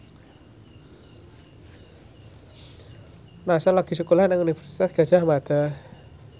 Nassar lagi sekolah nang Universitas Gadjah Mada